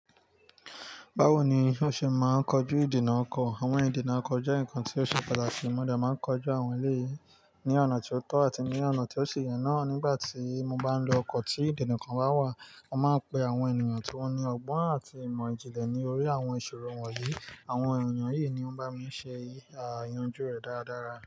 Bawo ni o ṣe máa ń kojú ìdínà ọkọ̀? Àwọn ìdínà ọkọ̀ jẹ́ nǹkan tí ó ṣe pataki mo dẹ̀ máa ń kojú àwọn èleyii ní ọ̀nà tí ó tọ́ àti ní ọ̀nà tí ó ṣe yẹn náà. Nígbà tí mo bá ń lo ọkọ̀ tí ìdínà kan bá wà, mo máa ń pe àwọn ènìyàn tí wọ́n ní ọgbọ́n àti ìmọ̀ ìjìnlè ní orí àwọn ìṣòro wọn yìí. Àwọn ènìyàn yìí ní ó bá mi ṣe àyánjú rẹ̀ dáradára.